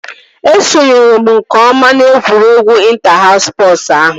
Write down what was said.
Esonyere m nke ọma na egwuregwu ịnta haus spọsu ahụ